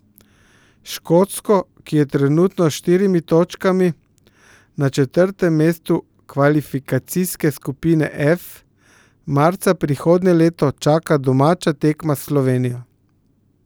Škotsko, ki je trenutno s štirimi točkami na četrtem mestu kvalifikacijske skupine F, marca prihodnje leto čaka domača tekma s Slovenijo.